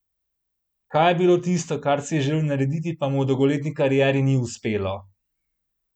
Kaj je bilo tisto, kar si je želel narediti, pa mu v dolgoletni karieri ni uspelo?